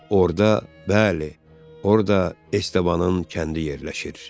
Orada, bəli, orada Estəbanın kəndi yerləşir.